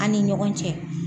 An ni ɲɔgɔn cɛ.